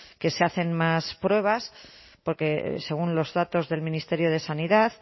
que se hacen más pruebas porque según los datos del ministerio de sanidad